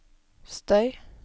støy